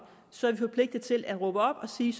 så er vi forpligtet til at råbe op og sige